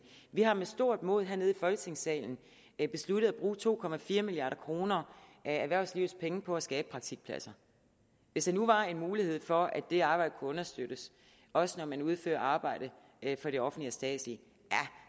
vi har med stort mod hernede i folketingssalen besluttet at bruge to milliard kroner af erhvervslivets penge på at skabe praktikpladser hvis der nu var en mulighed for at det arbejde kunne understøttes også når man udfører arbejdet for det offentlige og statslige